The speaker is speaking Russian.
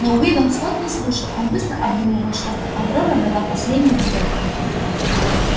но уидон скотт не слушал он быстро обдумывал что то аврора дала последний гудок